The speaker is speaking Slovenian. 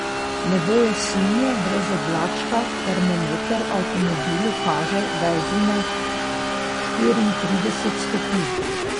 Nebo je sinje, brez oblačka, termometer v avtomobilu kaže, da je zunaj štiriintrideset stopinj.